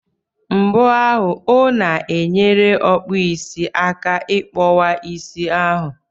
Mbọ ahụ o na-enyere ọkpụisi aka ị kpọwa isi ahụ?